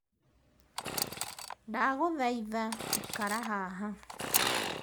Ndagũthaitha ikara haha.